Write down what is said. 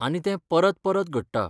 आनी तें परत परत घडटा.